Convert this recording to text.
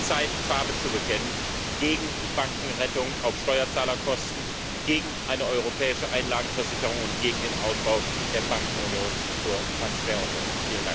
Es ist Zeit, Farbe zu bekennen gegen Bankenrettung auf Steuerzahlerkosten, gegen eine europäische Einlagenversicherung und gegen den Ausbau der Bankenunion zur Transferunion.